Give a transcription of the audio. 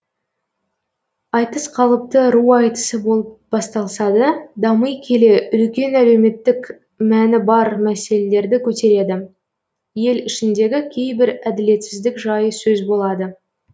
айтыс қалыпты ру айтысы болып басталса да дами келе үлкен әлеуметтік мәні бар мәселелерді көтереді ел ішіндегі кейбір әділетсіздік жайы сөз болады